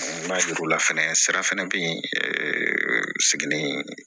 N b'a yir'u la fɛnɛ sira fana bɛ yen seginni